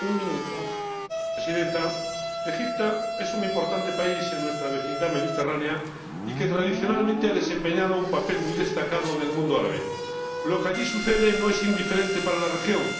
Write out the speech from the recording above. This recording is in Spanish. Señora Presidenta, Egipto es un importante país en nuestra vecindad mediterránea que tradicionalmente ha desempeñado un papel muy destacado en el mundo árabe. Lo que allí sucede no es indiferente para la región.